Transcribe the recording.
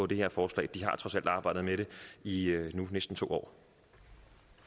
det her forslag de har trods alt arbejdet med det i nu næsten to